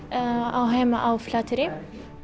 á heima á Flateyri